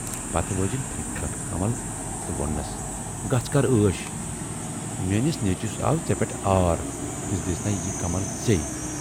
پَتہٕ وٲجِن پھیٖکہِ پٮ۪ٹھٕ کمل تہٕ ووننَس"گَژھ کَر عٲش، میٲنِس نیچوِس آو ژے پٮ۪ٹھ عٲر تہٕ دِژنےَ یہِ کمل ژٕے